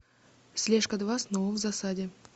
слежка два снова в засаде